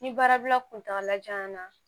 Ni baarabila kuntala jan na